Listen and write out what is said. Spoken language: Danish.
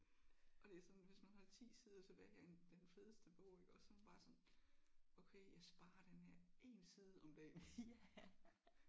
Og det er sådan hvis man har 10 sider tilbage af en den fedeste bog iggås så er man bare sådan okay jeg sparer den her 1 side om dagen